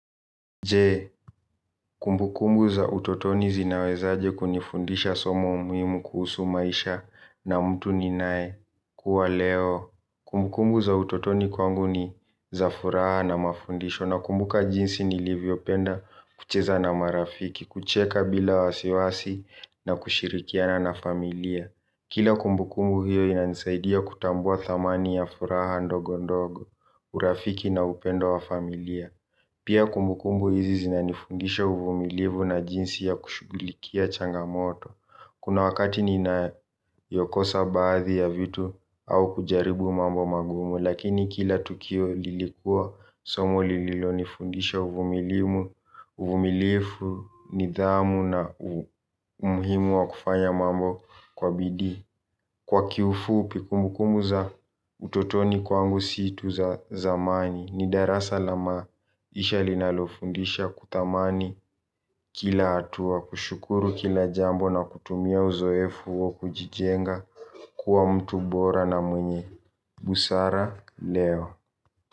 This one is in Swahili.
Je, kumbukumbu za utotoni zinawezaje kunifundisha somo muhimu kuhusu maisha na mtu ninayekuwa leo. Kumbukumbu za utotoni kwangu ni za furaha na mafundisho nakumbuka jinsi nilivyopenda kucheza na marafiki, kucheka bila wasiwasi na kushirikiana na familia. Kila kumbukumbu hiyo inanisaidia kutambua thamani ya furaha ndogo ndogo, urafiki na upendo wa familia. Pia kumbukumbu hizi zinanifundisha uvumilivu na jinsi ya kushughulikia changamoto. Kuna wakati ninayokosa baadhi ya vitu au kujaribu mambo magumu. Lakini kila tukio lilikuwa somo lililonifundisha uvumilivu, uvumilifu, nidhamu na umuhimu wa kufanya mambo kwa bidii. Kwa kiufupi kumbukumbu za utotoni kwangu si tu za zamani ni darasa la maisha linalofundisha kuthamani kila hatua kushukuru kila jambo na kutumia uzoefu huo kujijenga kuwa mtu bora na mwenye Busara, Leo.